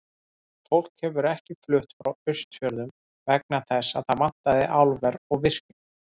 En fólk hefur ekki flutt frá Austfjörðum vegna þess að þar vantaði álver og virkjun.